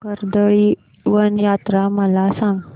कर्दळीवन यात्रा मला सांग